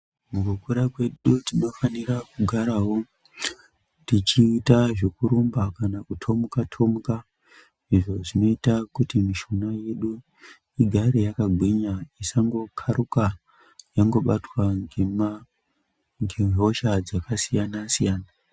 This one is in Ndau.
Mukukura kwedu tinofanira kugarawo tichiita zvekurumba kana kuthomuka thomuka, izvo zvinoita kuti mishuna yedu igare yakagwinya isango kharuka yangobatwa ngema ndihosha dzakasiyana siyana.